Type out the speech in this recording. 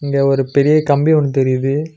இங்க ஒரு பெரிய கம்பி ஒன்னு தெரியிது.